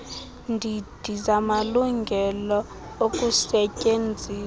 ndidi zamalungelo okusetyenziswa